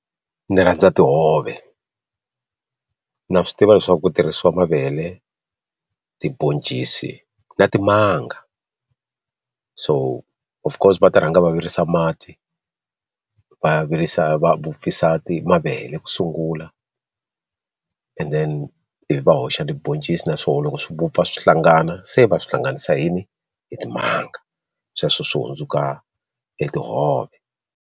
Ndzi rhandza tihove na swi tiva leswaku ku tirhisiwa mavele tiboncisi na timanga so of course va ta rhanga va virisa mati va va wupfisa ti mavele ku sungula and then ivi va hoxa tiboncisi naswona loko swi vupfa swi hlangana se va swi hlanganisa yini hi timanga sweswo swi hundzuka etihove.